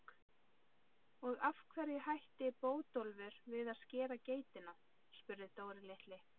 Og af hverju hætti Bótólfur við að skera geitina? spurði Dóri litli.